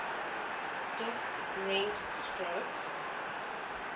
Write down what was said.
diff rent strokes